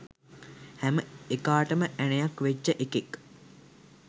හැම එකාටම ඇනයක් වෙච්ච එකෙක්